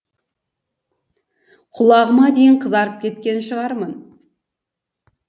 құлағыма дейін қызарып кеткен шығармын